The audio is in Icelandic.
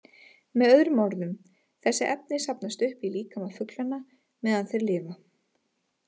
Með öðrum orðum, þessi efni safnast upp í líkama fuglanna meðan þeir lifa.